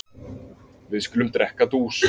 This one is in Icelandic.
Við skulum drekka dús.